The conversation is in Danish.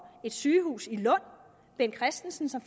et sygehus i lund bent christensen som